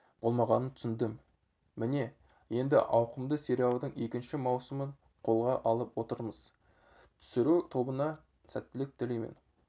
болмағанын түсіндім міне енді ауқымды сериалдың екінші маусымын қолға алып отырмыз түсіру тобына сәттілік тілеймін